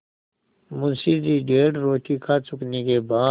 मुंशी जी डेढ़ रोटी खा चुकने के बाद